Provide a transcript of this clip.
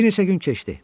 Bir neçə gün keçdi.